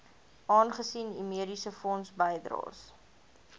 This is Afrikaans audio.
aangesien u mediesefondsbydraes